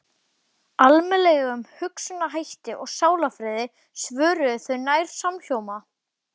Almennilegum hugsunarhætti og sálarfriði, svöruðu þau nær samhljóma.